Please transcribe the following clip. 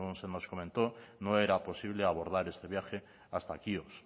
según se nos comentó no era posible abordar este viaje hasta quíos